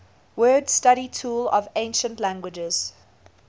word study tool of ancient languages